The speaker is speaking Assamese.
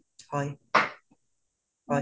হয় হয়